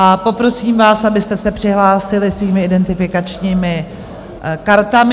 A poprosím vás, abyste se přihlásili svými identifikačními kartami.